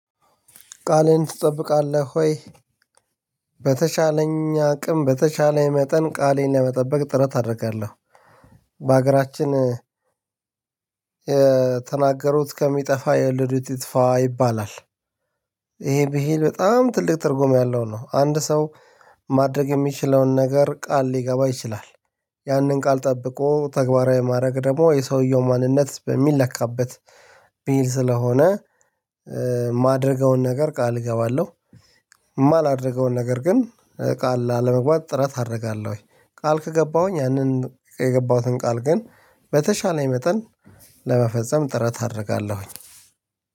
ቃልህን ትጠብቃለህ ወይ? በተቻለኝ አቅም በተቻለኝ መጠን ቃሌን ለመጠበቅ ጥረት አደርጋለሁ። በሀገራችን የተናገሩት ከሚጠፋ የወለዱት ይጥፋ ይባላል። ይሄ ብሄል በጣም ትልቅ ትርጉም ያለው ነው አንድ ሰው ማድረግ የሚችለውን ነገር ቃል ሊገባ ይችላል። ያንን ቃል ጠብቆ ተግባራዊ ማድረግ ደግሞ የሰውየው ማንነት የሚለካበት በሄ ስለሆነ ማደርገውን ነገር ቃል እገባለሁ። የማላደርገውን ነገር ግን ቃል ላለመግባት ጥረት አደርጋለሁ። ቃል ከገባሁኝ ያንን የገባሁትን ቃል ግን በተቻለኝ መጠን ለመፈጸም ጥረት አደርጋለሁኝ።